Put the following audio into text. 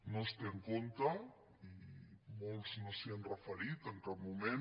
no es té en compte i molts no s’hi han referit en cap moment